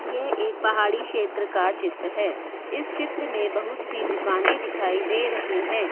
यह एक पहाड़ी क्षेत्र का चित्र है इस चित्र में बहुत सी दुकान दिखाई दे रही हैं।